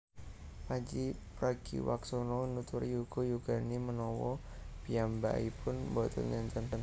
Pandji Pragiwaksono nuturi yuga yugane menawa piyambakipun mboten enten